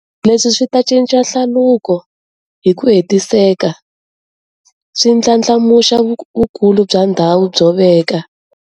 Leswi swi ta cinca hlaluko hi ku hetiseka, swi ndlandlamuxa vukulu bya ndhawu byo veka